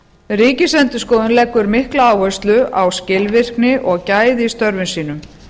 ríkisendurskoðun leggur mikla áherslu á skilvirkni og gæði í störfum sínum